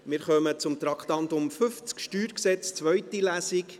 Wir kommen zum Traktandum 50, Steuergesetz (StG), zweite Lesung.